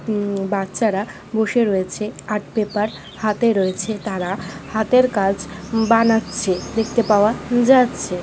উ বাচ্চারা বসে রয়েছে আর্ট পেপার হাতে রয়েছে তারা হাতের কাজ বানাচ্ছে। দেখতে পাওয়া যাচ্ছে।